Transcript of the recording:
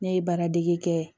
Ne ye baara dege kɛ